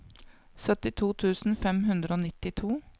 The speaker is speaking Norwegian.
syttito tusen fem hundre og nittito